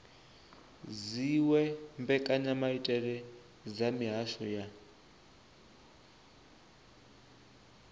dziwe mbekanyamaitele dza mihasho ya